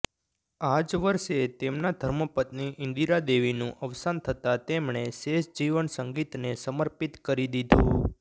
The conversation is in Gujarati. આ જ વર્ષે તેમના ધર્મપત્ની ઈન્દિરાદેવીનું અવસાન થતાં તેમણે શેષ જીવન સંગીતને સમર્પિત કરી દીધું